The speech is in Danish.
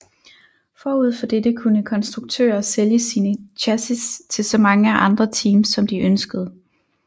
Forud for dette kunne konstruktører sælge sine chassis til så mange andre teams som de ønskede